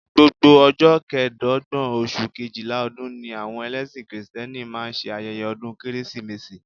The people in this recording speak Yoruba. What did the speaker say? Gbogbo ọjọ́ kẹẹ̀dọ́gbọ̀n oṣù Kejìlá ọdún ni àwọn ẹlẹ́sìn kìrìtẹ́nì máa ń ṣe ayẹyẹ ọdún Kérésìmesì